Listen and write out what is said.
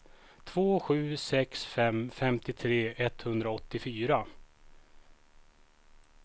två sju sex fem femtiotre etthundraåttiofyra